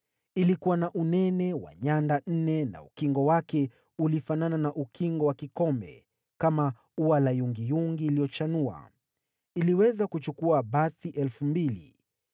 Ilikuwa na unene wa nyanda nne na ukingo wake ulifanana na ukingo wa kikombe, kama ua la yungiyungi iliyochanua. Iliweza kuchukua bathi 2,000.